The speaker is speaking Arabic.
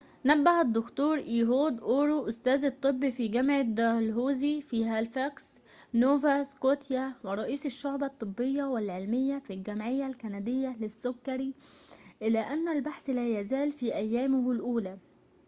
نبه الدكتور إيهود أور أستاذ الطب في جامعة دالهوزي في هاليفاكس نوفا سكوتيا ورئيس الشعبة الطبية والعلمية في الجمعية الكندية للسكري إلى أن البحث لا يزال في أيامه الأولى